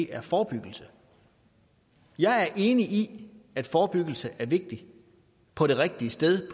er forebyggelse jeg er enig i at forebyggelse er vigtig på det rigtige sted